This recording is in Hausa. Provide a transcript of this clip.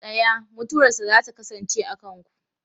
Tsaya! Mutuwarsa za ta kasance a kanku.